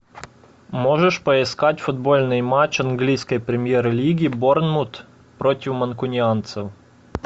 можешь поискать футбольный матч английской премьер лиги борнмут против манкунианцев